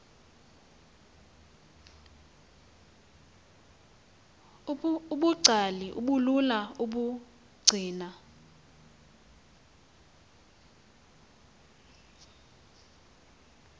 ubungcali obulula ukubugcina